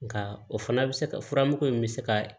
Nka o fana bɛ se ka furamugu in bɛ se ka